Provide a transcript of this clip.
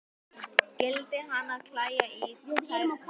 Skyldi hana klæja í tærnar?